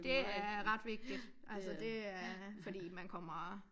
Det er ret vigtigt altså det er fordi man kommer